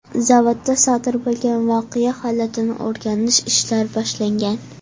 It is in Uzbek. Zavodda sodir bo‘lgan voqea holatini o‘rganish ishlari boshlangan.